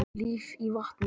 Líf í vatni.